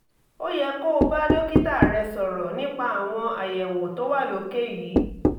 ó yẹ kó o bá dókítà rẹ sọ̀rọ̀ nípa àwọn àyẹ̀wò tó wà lókè yìí